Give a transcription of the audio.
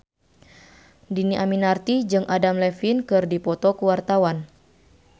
Dhini Aminarti jeung Adam Levine keur dipoto ku wartawan